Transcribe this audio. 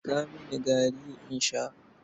Jiƙa mini gari in sha.